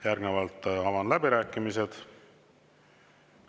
Järgnevalt avan läbirääkimised.